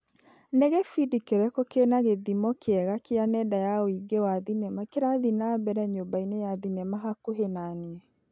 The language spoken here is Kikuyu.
Nĩ gĩbindi kĩrĩkũ kĩna gĩthimo kĩega kia nenda ya ũigi wa thinema kĩrathiĩ na mbere nyũmba-inĩ ya thinema hakuhĩ na niĩ .